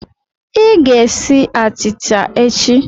Ị ga-esi achịcha echi!